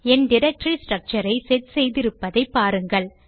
என் directory structure ஐ set செய்திருப்பதை பாருங்கள்